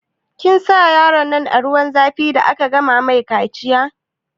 Kin sa yaronnan a zuwan zafi da aka gama mai kaciya?